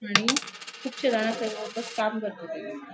आणि कुबशे काम करता थंय दिसता.